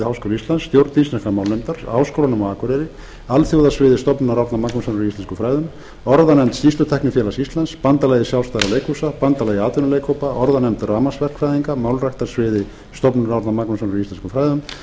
háskóla íslands stjórn íslenskrar málnefndar háskólanum á akureyri alþjóðasviði stofnunar árna magnússonar í íslenskum fræðum orðanefnd skýrslutæknifélags íslands bandalagi sjálfstæðra leikhúsa bandalagi atvinnuleikhópa orðanefnd rafmagnsverkfræðinga málræktarsviði stofnunar árna magnússonar í íslenskum fræðum